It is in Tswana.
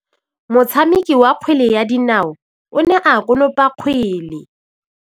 Motshameki wa kgwele ya dinaô o ne a konopa kgwele.